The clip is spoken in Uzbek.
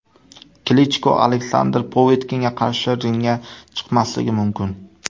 Klichko Aleksandr Povetkinga qarshi ringga chiqmasligi mumkin.